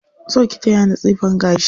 Zo ki taya ni tsifan gashi.